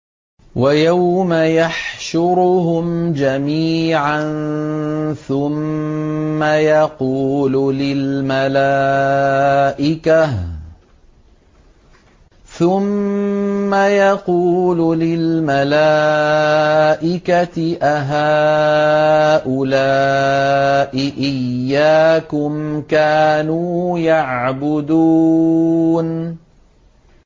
وَيَوْمَ يَحْشُرُهُمْ جَمِيعًا ثُمَّ يَقُولُ لِلْمَلَائِكَةِ أَهَٰؤُلَاءِ إِيَّاكُمْ كَانُوا يَعْبُدُونَ